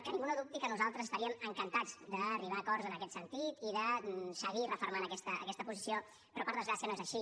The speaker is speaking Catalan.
que ningú no dubti que nosaltres estaríem encantats d’arribar a acords en aquest sentit i de seguir refermant aquesta posició però per desgràcia no és així